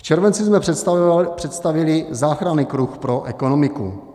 V červenci jsme představili záchranný kruh pro ekonomiku.